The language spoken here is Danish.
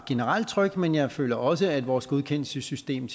generelt tryg men jeg føler også at vores godkendelsessystem